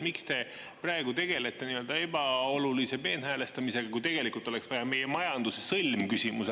Miks te praegu tegelete ebaolulise peenhäälestamisega, kui tegelikult oleks vaja ära lahendada meie majanduse sõlmküsimus?